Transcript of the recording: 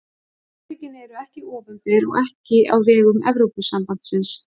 Samtökin eru ekki opinber og ekki á vegum Evrópusambandsins.